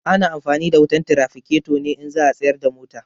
Ana amfani da wutan tiraficato ne in za a tsayar da mota.